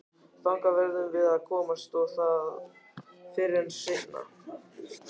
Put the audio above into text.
Þangað verðum við að komast og það fyrr en seinna.